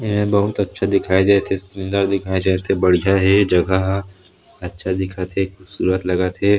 एहा बहुत अच्छा दिखाई देत हे सुन्दर दिखाई देत हे बढ़िया हे जगह ह अच्छा दिखत हे खूबसूरत लगत हे।